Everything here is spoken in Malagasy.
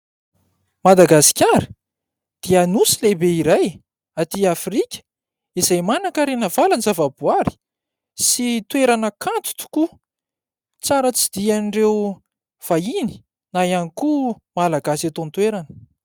Madagasikara dia nosy lehibe iray atỳ Afrika izay manankarena valan-java-boahary sy toerana kanto tokoa , tsara tsidihan'ireo vahiny na ihany koa malagasy eto an-toerana.